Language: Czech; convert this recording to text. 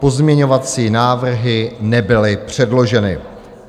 Pozměňovací návrhy nebyly předloženy.